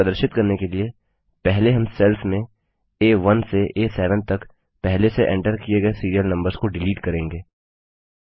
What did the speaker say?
इसे प्रदर्शित करने के लिए पहले हम सेल्स में आ1 से आ7 तक पहले से एंटर किए गए सीरियल नम्बर्स को डिलीट करेंगे